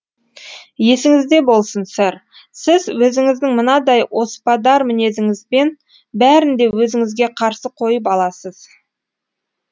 есіңізде болсын сэр сіз өзіңіздің мынадай оспадар мінезіңізбен бәрін де өзіңізге қарсы қойып аласыз